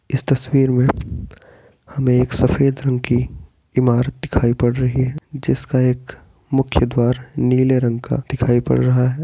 इस तस्वीर में हमें एक सफ़ेद रंग की इमारत दिखाई पड़ रही है जिसका एक मुख्य द्वार नीले रंग का दिखाई पड़ रहा है।